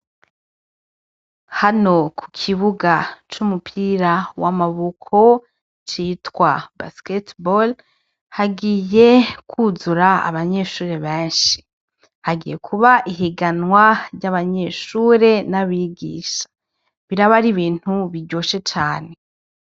Hano ku kibuga c'umupira w'amaboko citwa basketbal hagiye kwuzura abanyeshuri benshi hagiye kuba ihiganwa ry'abanyeshure n'abigisha biraba ari ibintu biryoshe cane.